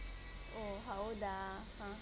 ಓ ಹೌದಾ ಹ ಹ.